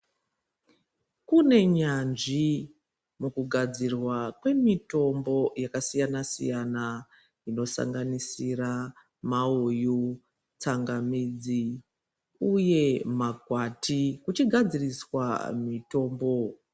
Kune nyanzvi mukugadzirwa kwemitombo yakasiyana siyana inosanganisira mauyu tsangamidzi uye makwati uchigadziriswa mitombo.